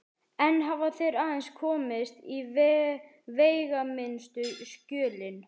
Enn hafa þeir aðeins komist í veigaminnstu skjölin.